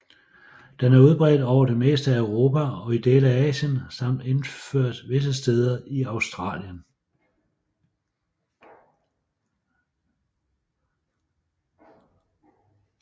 Den er udbredt over det meste af Europa og i dele af Asien samt indført visse steder i Australasien